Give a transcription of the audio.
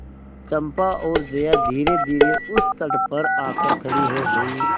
चंपा और जया धीरेधीरे उस तट पर आकर खड़ी हो गई